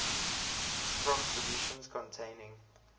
form solutions containing